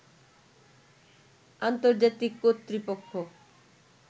আন্তর্জাতিক কর্তৃপক্ষ